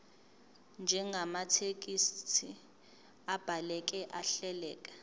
njengamathekisthi abhaleke ahleleka